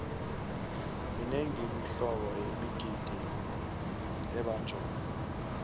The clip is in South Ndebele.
minengi imihlobo yemigidingo ebanjwako